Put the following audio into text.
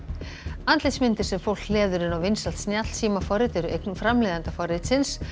andlitsmyndir sem fólk hleður inn í vinsælt snjallsímaforrit eru eign framleiðanda forritsins